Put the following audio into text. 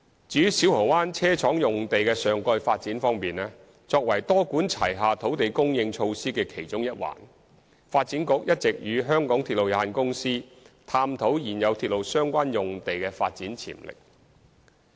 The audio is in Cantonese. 至於小蠔灣車廠用地的上蓋發展方面，作為多管齊下土地供應措施的其中一環，發展局一直與香港鐵路有限公司探討現有鐵路相關用地的發展潛力。